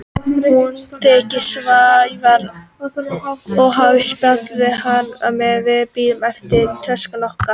Hún þekkti Sævar og hafði spjallað við hann meðan við biðum eftir töskunum okkar.